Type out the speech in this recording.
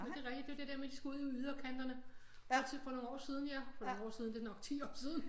Det er rigtigt det er det der med at man skulle ud i yderkanterne for nogle år siden ja for nogle år siden det er jo nok 10 år siden